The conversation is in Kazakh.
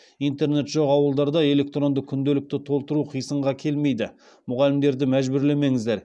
интернет жоқ ауылдарда электронды күнделікті толтыру қисынға келмейді мұғалімдерді мәжбүрлемеңіздер